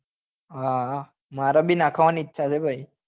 હા હા મારે બી નાખવા ની ઈચ્છા છે ભાઈ